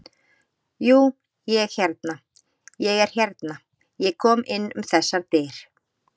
Jú, ég hérna. ég er hérna. ég kom inn um þessar dyr.